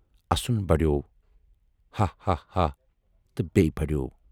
اَسُن بَڑیو۔ ہا ہا ہا تہٕ بیٚیہِ بَڑیو۔